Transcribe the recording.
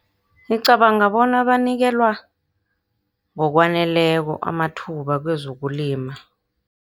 Ngicabanga bona banikelwa ngokwaneleko amathuba kwezokulima.